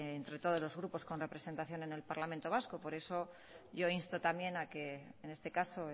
entre todos los grupos con representación en el parlamento vasco por eso yo insto también a que en este caso